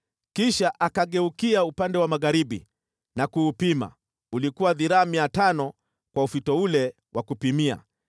Kisha akageukia upande wa magharibi na kuupima, ulikuwa dhiraa 500 kwa ufito ule wa kupimia.